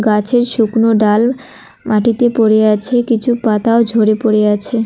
গাছের শুকনো ডাল মাটিতে পড়ে আছে কিছু পাতাও ঝরে পড়ে আছে।